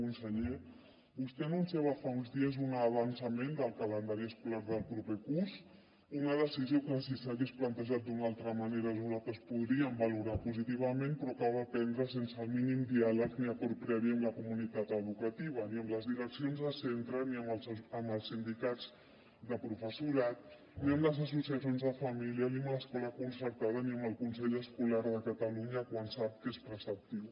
conseller vostè anunciava fa uns dies un avançament del calendari escolar del proper curs una decisió que si s’hagués plantejat d’una altra manera nosaltres podríem valorar positivament però que va prendre sense el mínim diàleg ni acord previ amb la comunitat educativa ni amb les direccions de centre ni amb els sindicats de professorat ni amb les associacions de família ni amb l’escola concertada ni amb el consell escolar de catalunya quan sap que és preceptiu